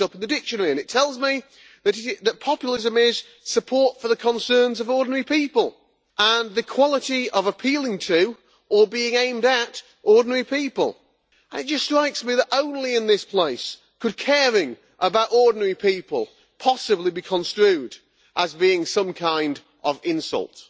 I looked it up in the dictionary, and it tells me that populism is support for the concerns of ordinary people and the quality of appealing to or being aimed at ordinary people. It just strikes me that only in this place could caring about ordinary people possibly be construed as being some kind of insult.